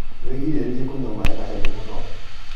wĩgirĩrĩrie kũnyua maĩ mahehu mũno